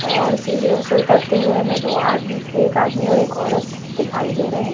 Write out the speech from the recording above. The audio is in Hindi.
और सीढ़ियों से उतरते हुए हमें दो आद एक आदमी और एक औरत दिखाई दे रहे हैं।